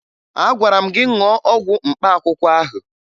Agwara m gị ṅụọ ọgwụ mkpaakwụkwọ ahụ!